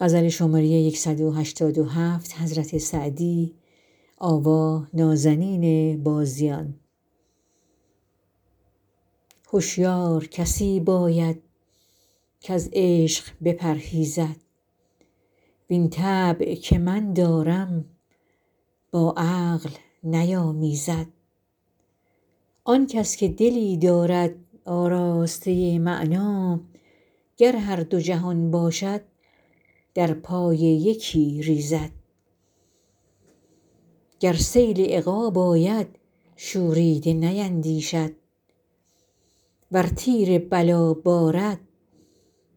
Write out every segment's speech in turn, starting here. هشیار کسی باید کز عشق بپرهیزد وین طبع که من دارم با عقل نیامیزد آن کس که دلی دارد آراسته معنی گر هر دو جهان باشد در پای یکی ریزد گر سیل عقاب آید شوریده نیندیشد ور تیر بلا بارد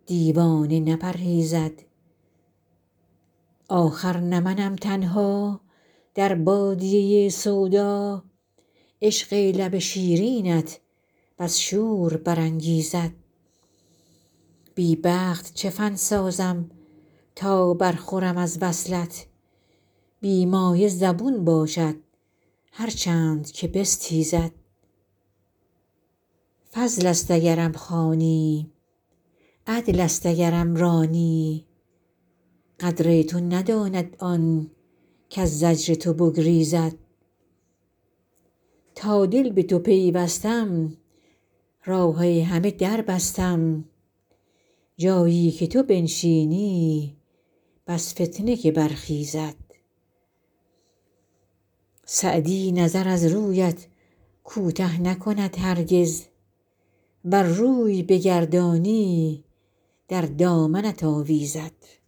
دیوانه نپرهیزد آخر نه منم تنها در بادیه سودا عشق لب شیرینت بس شور برانگیزد بی بخت چه فن سازم تا برخورم از وصلت بی مایه زبون باشد هر چند که بستیزد فضل است اگرم خوانی عدل است اگرم رانی قدر تو نداند آن کز زجر تو بگریزد تا دل به تو پیوستم راه همه در بستم جایی که تو بنشینی بس فتنه که برخیزد سعدی نظر از رویت کوته نکند هرگز ور روی بگردانی در دامنت آویزد